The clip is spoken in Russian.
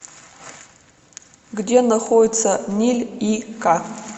где находится ниль и к